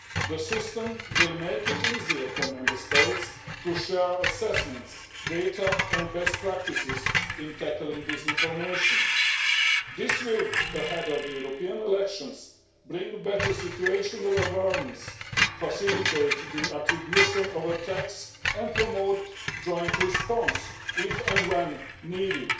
The system will make it easier for Member States to share assessments, data and best practices in tackling disinformation. This will, ahead of the European elections, bring better situational awareness, make it easier to determine responsibility for attacks and promote joint response, if and when needed,